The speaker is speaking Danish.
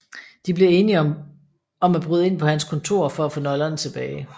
De bliver enige om bryde ind på hans kontor for at få nøglerne tilbage